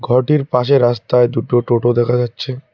ওটির পাশে রাস্তায় দুটো টোটো দেখা যাচ্ছে।